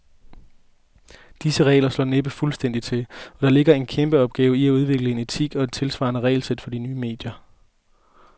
Disse regler slår næppe fuldstændigt til, og der ligger en kæmpeopgave i at udvikle en etik og et tidssvarende regelsæt for de nye medier.